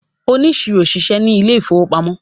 oniṣiro ṣiṣẹ ní Ilé ìfowópamọ́